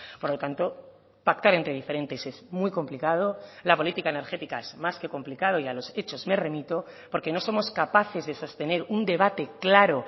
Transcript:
por lo tanto pactar entre diferentes es muy complicado la política energética es más que complicado y a los hechos me remito porque no somos capaces de sostener un debate claro